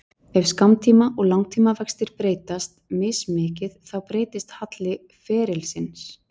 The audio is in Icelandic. Ef skammtíma- og langtímavextir breytast mismikið þá breytist halli ferilsins.